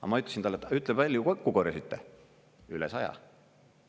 Aga ma ütlesin talle, et ütle palju kokku korjasite: üle 100 miljoni euro.